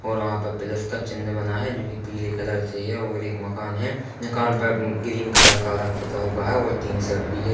और वहाँ पर प्लस का चिन्ह बना है जोकि पीले कलर से है और एक मकान है मकान पर अम्म ग्रीन कलर का रंग पुता हुआ है और टीन शेड भी है।